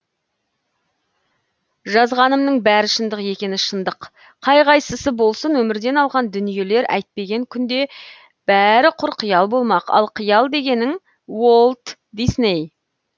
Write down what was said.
жазғанымның бәрі шындық екені шындық қай қайсысы болсын өмірден алған дүниелер әйтпеген күнде бәрі құр қиял болмақ ал қиял дегенің уолт дисней